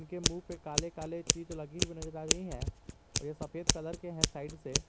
इनके मुंह पे काले काले चीज लगी हुई नजर आ रही हैं और ये सफेद कलर के है साइड से।